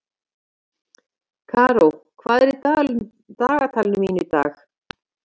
Karó, hvað er í dagatalinu mínu í dag?